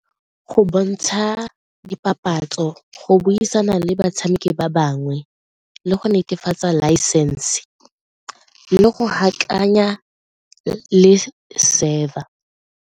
Go bontsha dipapatso, go buisana le batshameki ba bangwe le go netefatsa laesense le go le server.